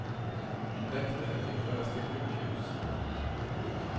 En väktare fick föras till sjukhus.